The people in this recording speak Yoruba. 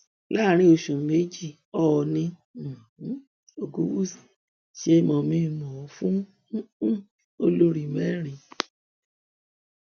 láàrin oṣù méjì òòní um ogunwúsì ṣe mọmìńmọọ fún um olórí mẹrin